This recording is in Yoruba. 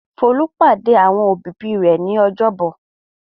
Folú pàdé àwọn òbí-òbí rẹ̀ ní ọjọ́bọ̀.